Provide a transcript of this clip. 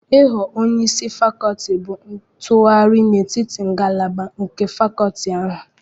Ịghọ onye isi fakolti bụ ntụgharị n'etiti ngalaba nke fakolti ahụ.